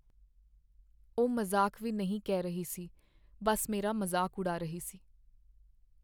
ਉਹ ਮਜ਼ਾਕ ਵੀ ਨਹੀਂ ਕਹਿ ਰਹੀ ਸੀ, ਬੱਸ ਮੇਰਾ ਮਜ਼ਾਕ ਉਡਾ ਰਹੀ ਸੀ।